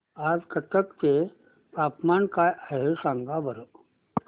आज कटक चे तापमान काय आहे सांगा बरं